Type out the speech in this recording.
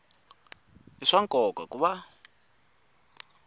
i swa nkoka ku va